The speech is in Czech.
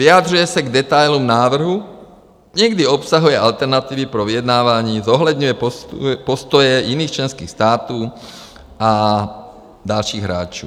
Vyjadřuje se k detailům návrhu, někdy obsahuje alternativy pro vyjednávání, zohledňuje postoje jiných členských států a dalších hráčů.